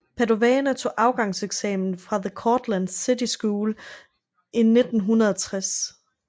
Padavona tog afgangseksamen fra the Cortland City School i 1960